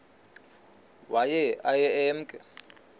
waye aye emke